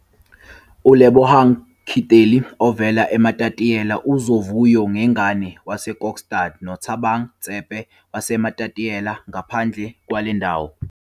Isithombe 3- ULebohang Khitleli ovela eMatatiele, uZovuyo Ngegane waseKokstad noThabang Tsephe waseMatatiele ngaphandle kwale ndawo.